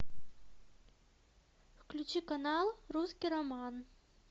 включи канал русский роман